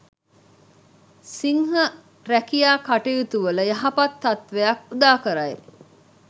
සිංහ රැකියා කටයුතුවල යහපත් තත්ත්වයක් උදාකරයි.